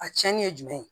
A cɛnni ye jumɛn ye